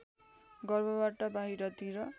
गर्भबाट बाहिरतिर